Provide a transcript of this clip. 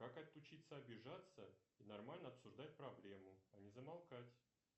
как отучиться обижаться и нормально обсуждать проблему а не замолкать